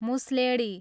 मुसलेँडी